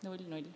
Aitäh!